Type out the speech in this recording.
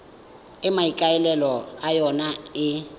e maikaelelo a yona e